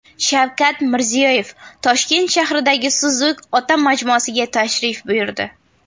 Shavkat Mirziyoyev Toshkent shahridagi Suzuk ota majmuasiga tashrif buyurdi .